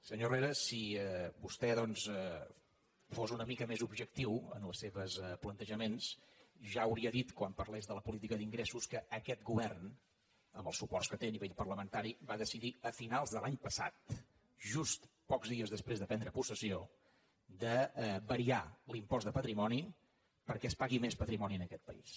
senyor herrera si vostè doncs fos una mica més objectiu en els seus plantejaments ja hauria dit quan parlés de la política d’ingressos que aquest govern amb els suports que té a nivell parlamentari va decidir a finals de l’any passat just pocs dies després de prendre possessió de variar l’impost de patrimoni perquè es pagui més patrimoni en aquest país